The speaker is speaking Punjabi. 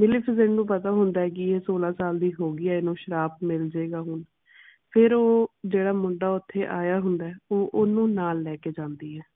ਮਲਿਫੀਸੈਂਟ ਨੂੰ ਪਤਾ ਹੁੰਦਾ ਹੈ ਕੇ ਇਹ ਸੋਲਾਂ ਸਾਲ ਦੀ ਹੋ ਗਈ ਹੈ ਇਹਨੂੰ ਸ਼ਰਾਪ ਮਿਲ ਜੇਗਾ ਹੁਣ। ਫਿਰ ਉਹ ਜਿਹੜਾ ਮੁੰਡਾ ਓਥੇ ਆਇਆ ਹੁੰਦਾ ਹੈ ਉਹ ਓਹਨੂੰ ਨਾਲ ਲੈ ਕੇ ਜਾਂਦੀ ਆ।